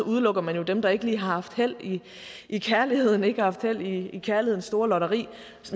udelukker man jo dem der ikke lige har haft held i kærlighed haft held i kærlighedens store lotteri